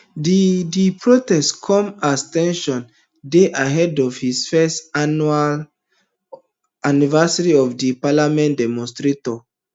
di di protest comes as ten sion dey ahead of di first anniversary of di parliament demonstrators